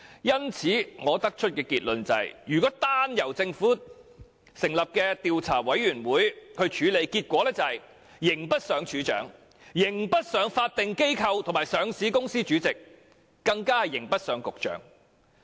因此，我得出的結論是，如果單由政府成立的調查委員會處理有關事宜，結果只會是刑不上署長，刑不上法定機構或上市公司的主席，更刑不上局長。